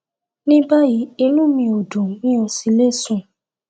ní báyìí inú mi ò dùn mi ò sì le sùn